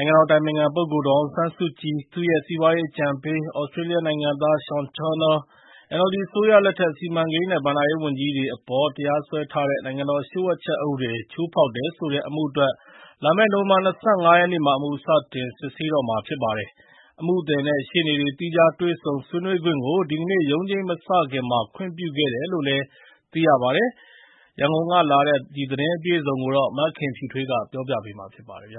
ိုင်ငံတော်အတိုင်ပင်ခံပုဂ္ဂိုလ် ဒေါ်အောင်ဆန်းစုကြည်၊ သူ့ရဲ့စီးပွားရေးအကြံပေး သြစတြေးလျနိုင်ငံသား Sean Turnell ၊ NLD အစိုးရလက်ထက် စီမံကိန်းနဲ့ ဘဏ္ဍာရေးဝန်ကြီးတွေအပေါ် တရားစွဲထားတဲ့ နိုင်ငံတော်လျှို့ဝှက်ချက်အက်ဥပဒေ ချိုးဖောက်တယ်ဆိုတဲ့အမှုအတွက် လာမယ့် နိုဝင်ဘာလ ၂၅ ရက်နေ့မှာ အမှု စတင်စစ်ဆေးတော့မှာဖြစ်ပါတယ်။ အမှုသည်နဲ့ ရှေ့နေတွေ သီးခြားတွေ့ဆုံ ဆွေးနွေးခွင့်ကို ဒီကနေ့ ရုံးချိန်းမစခင်မှာ ခွင့်ပြုခဲ့တယ်လို့လည်း သိရပါတယ်။ ရန်ကုန်ကလာတဲ့ ဒီသတင်းကို မခင်ဖြူထွေးက တင်ပြပေးထားပါတယ်။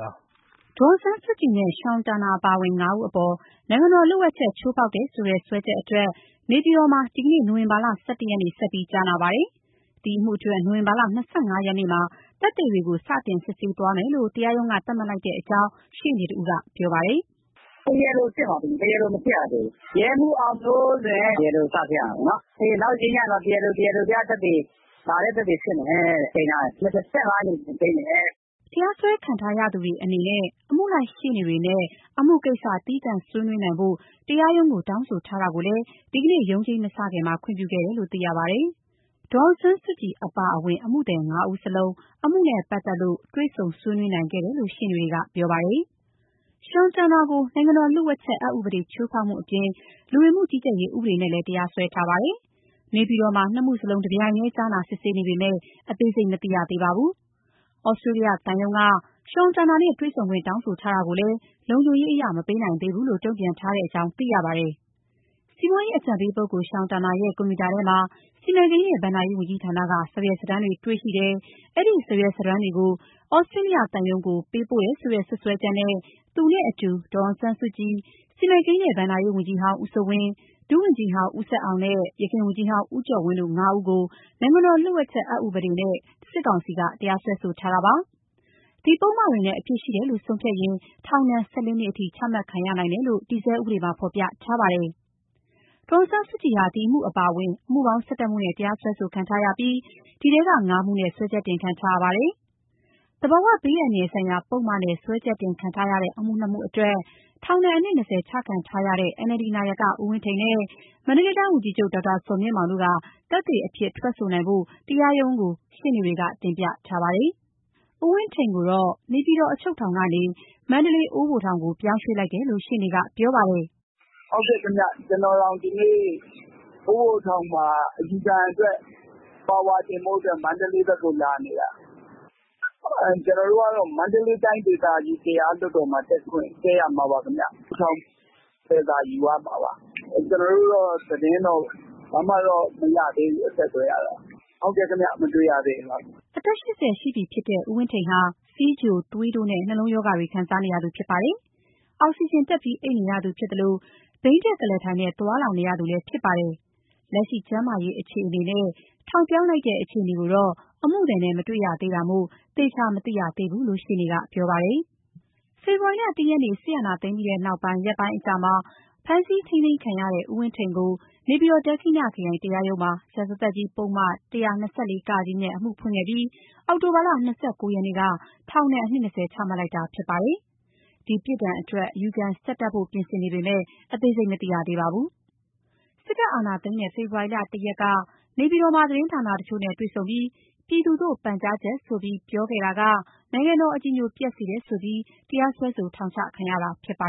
ဒေါ်အောင်ဆန်းစုကြည်နဲ့ Sean Turnell ပါ ငါးဦးအပေါ် နိုင်ငံတော်လျှို့ဝှက်ချက် ချိုးဖောက်တယ်ဆိုတဲ့ စွဲချက် အတွက် နေပြည်တော်မှာ ဒီနေ့ နိုဝင်ဘာ ၁၁ ရက်နေ့ ဆက်ပြီးကြားနာပါတယ်။ ဒီအမှုအတွက် နိုဝင်ဘာ ၂၅ ရက်နေ့မှာ သက်သေတွေကို စတင်စစ်ဆေးသွားမယ်လို့ တရားရုံးက သတ်မှတ်လိုက်တဲ့အကြောင်း ရှေ့နေတဦးက ပြောပါတယ်။ "တရားလိုစစ်မှာ၊ တရားလို မစစ်ရသေးဘူးရဲမှူးအောင်မျိုးလွင်တဲ့။တရားလို စ စစ်ရမယ်။ နောက်တချိန်းမှာ တရားလို၊ တရားလိုပြသက်သေ တပါတည်း စစ်မယ်။ ချိန်းထားတယ်။ ၂၅ ရက်နေ့ပြန်ချိန်းတယ်။" တရားစွဲခံထားရသူတွေအနေနဲ့ အမှုလိုက်ရှေ့နေတွေနဲ့ အမှုကိစ္စ သီးသန့်ဆွေးနွေးနိုင်ဖို့ တရားရုံးကို တောင်းဆိုထားတာကိုလည်း ဒီနေ့ ရုံးချိန်းမစခင်မှာ ခွင့်ပြုခဲ့တယ်လို့ သိရပါတယ်။ ဒေါ်အောင် ဆန်းစုကြည်အပါအဝင် အမှုသည် ၅ ဦးစလုံး အမှုနဲ့ပတ်သက်လို့ တွေ့ဆုံဆွေးနွေးနိုင်ခဲ့တယ်လို့ ရှေ့နေတွေကပြောပါတယ်။ Sean Turnell ကို နိုင်ငံတော်လျှို့ဝှက်ချက် အက်ဥပဒေ ချိုးဖောက်မှုအပြင် လူဝင်မှုကြီးကြပ်ရေးဥပဒေနဲ့လည်း တရားစွဲထားပါတယ်။ နေပြည်တော်မှာ နှစ်မှုလုံး တပြိုင်တည်း ကြားနာ စစ်ဆေးနေပေမဲ့ အသေးစိတ်မသိရသေးပါဘူး။ သြစတြေးလျသံရုံးက Sean Turnell နဲ့ တွေ့ဆုံခွင့် တောင်းဆိုထားတာကိုလည်း လုံခြုံရေးအရ မပေးနိုင်သေးဘူးလို့ တုံ့ပြန်ထားကြောင်း သိရပါတယ်။ စီးပွားရေးအကြံပေး Turnell ရဲ့ ကွန်ပြူတာထဲမှာ စီမံကိန်းနဲ့ ဘဏ္ဍာရေးဝန်ကြီးဌာနက စာရွက်စာတမ်းတွေ တေ့ွရှိတယ်၊ အဲဒီစာရွက်စာတမ်းတွေကို သြစတြေးလျသံရုံးကို ပေးပို့တယ်ဆိုတဲ့ စွပ်စွဲချက်နဲ့ သူနဲ့အတူ ဒေါ်အောင်ဆန်းစုကြည်၊ စီမံကိန်းနဲ့ဘဏ္ဍာရေးဝန်ကြီးဟောင်း ဦးစိုးဝင်း၊ ဒုဝန်ကြီးဟောင်း ဦးဆက်အောင်နဲ့ ယခင်ဝန်ကြီးဟောင်း ဦးကျော်ဝင်းတို့ ငါးဦးကို နိုင်ငံတော်လျှို့ ဝှက်ချက်အက်ဥပဒေနဲ့ စစ်ကောင်စီက တရားစွဲထားတာပါ။ ဒီပုဒ်မတွေနဲ့အပြစ်ရှိတယ်လို့ ဆုံးဖြတ်ရင် ထောင်ဒဏ် ၁၄ နှစ်ထိ ချမှတ်နိုင်တယ်လို့ တည်ဆဲဥပဒေမှာ ဖော်ပြထားပါတယ်။ ဒေါ်အောင်ဆန်းစုကြည်ဟာ ဒီအမှု အပါအဝင် အမှုပေါင်း ၁၁ မှုနဲ့ တရားစွဲခံထားရပြီး ဒီထဲက ၅ မှုနဲ့ စွဲချက်တင်ခံထားရပါမယ်။ သဘာဝဘေးအန္တရာယ်ဆိုင်ရာ ပုဒ်မနဲ့ စွဲချက်ချက်တင်ခံထားရတဲ့ အမှု ၂ မှုအတွက်ထောင်ဒဏ် အနှစ် ၂၀ ချခံထားရတဲ့ NLD နာယက ဦးဝင်းထိန်နဲ့ မန္တလေးတိုင်းဝန်ကြီးချုပ် ဒေါက်တာ ဇော်မြင့်မောင်တို့ သက်သေအဖြစ် ထွက်ဆိုနိုင်ဖို့ တရားရုံးကို ရှေ့နေတွေ တင်ပြထားပါတယ်။ ဦးဝင်းထိန်ကိုတော့ နေပြည်တော်အချုပ်ထောင်ကနေမန္တလေးတိုင်း အိုးဘိုထောင်ကို ပြောင်းရွှေ့လိုက်တယ်လို့ ရှေ့နေကပြောပါတယ်။ "ဟုတ်ပါတယ်။ ကျနော်တောင် အယူခံအတွက် အိုးဘိုထောင် မန္တလေးဘက်ကိုလာနေတာပါ။ မန္တလေးတိုင်းတရားလွှတ်တော်ဘက်မှာ တက်ရမှာပါ၊ ထောင်ဝင်စာယူရမှာပါ။ ကျနော်တို့တော့သတင်းတော့ အဆက်အသွယ်ဘာမှတော့မရသေးဘူး။ ဟုတ်ကဲ့ မတွေ့ရသေးပါဘူး။" အသက် ၈၀ ရှိပြီဖြစ်တဲ့ ဦးဝင်းထိန်ဟာ ဆီးချို၊ သွေးတိုးနဲ့နှ လုံးရောဂါတွေ ခံစားနေရသူဖြစ်ပါတယ်။ အောက်စီဂျင်တပ်ပြီး အိပ်နေရသူဖြစ်သလို ဘီးတပ်ကုလားထိုင်နဲ သွားလာနေရသူလည်း ဖြစ်ပါတယ်။ လက်ရှိ ကျန်းမာရေးအခြေအနေနဲ့ ထောင်ပြောင်းလိုက်တဲ့ အခြေအနေကိုတော့ အမှုသည်နဲ့ မတွေ့ရသေးတာမို့ သေချာမသိရသေးဘူးလို့ ရှေ့နေကပြောပါတယ်။ ဖေဖော်ဝါရီ ၁ ရက်နေ့ အာဏာသိမ်းပြီး ရက်ပိုင်းအကြာမှာ ဖမ်းဆီးခံခဲ့ရတဲ့ ဦးဝင်းထိန်ကို နေပြည်တော် ဒက္ခိဏခရိုင် တရားရုံးမှာ ရာဇသတ်ကြီး ပုဒ်မ ၁၂၄-က နဲ့ အမှုဖွင့်ခဲ့ပြီး အောက်တိုဘာ ၂၉ ရက် နေ့က ထောင်ဒဏ် နှစ် ၂၀ ချမှတ်လိုက်တာဖြစ်ပါတယ်။ ဒီပြစ်ဒဏ် အတွက် အယူခံဆက်တက်ဖို့ ပြင်ဆင်နေပေမယ့် အသေးစိတ်မသိရသေးပါဘူး။ စစ်တပ်အာဏာသိမ်းတဲ့ ဖေဖော်ဝါရီ ၁ ရက်က နေပြည်တော်မှာ သတင်းဌာနတချိုနဲ့ တွေ့ဆုံပြီး ပြည်သူသို့ပန်ကြားချက်ဆိုပြီး ပြောခဲ့တာက နိုင်ငံတော် အကြည်ညိုပျက်စေတယ်ဆိုပြီး တရားစွဲ ထောင်ချခံခဲ့ရတာဖြစ်ပါ